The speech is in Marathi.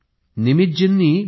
निमितजींनी बी